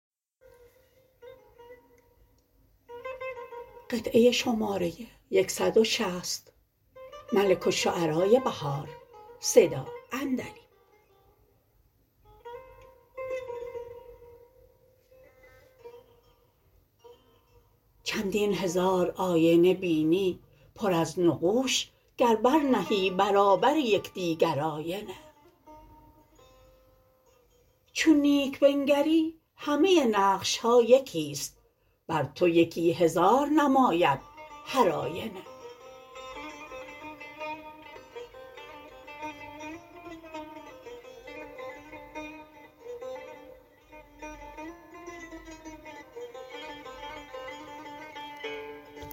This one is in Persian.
چندین هزار آینه بینی پر از نقوش گر برنهی برابر یکدیگر آینه چون نیک بنگری همه نقش ها یکی ست بر تو یکی هزار نماید هر آینه